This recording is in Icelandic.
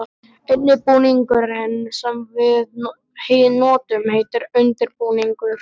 eini búningurinn sem við notum heitir undir-búningur.